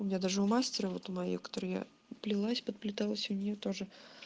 у меня даже у мастера вот у моей у которой я плелась подплеталась у нее тоже